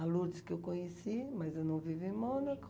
A Lourdes que eu conheci, mas eu não vivo em Mônaco.